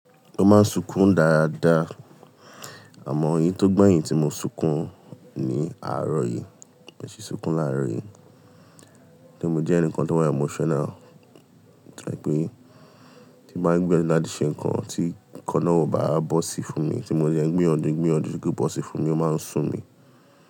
Mo máa ń sunkún dára dáa, àmọ èyí tó gbẹ̀yìn tí mo sunkún ní àárọ̀ yìí, mi ò sí sunkún láàárọ̀ yìí. Nítorí mo jẹ́ ẹnìkan tó máa ń emotional, tó jẹ́ pé tí mo bá gbẹ́nu láti ṣe nǹkan tí kan náà ò bá bọ́ sí fún mi tí mo dẹ̀ ń gbìyànjù gbìyànjù kí ó bọ́ sí fún mi, ó máa ń sùn mí.